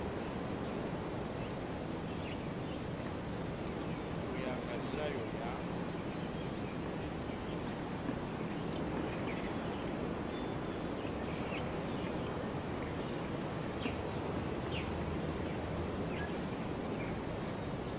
u ya nga milayo ya